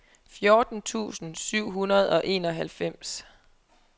fjorten tusind syv hundrede og enoghalvfems